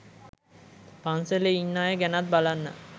පන්සලේ ඉන්න අය ගැනත් බලන්න.